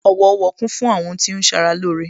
Owo Owo kún fún àwọn ohun tí ó ń ṣara lóore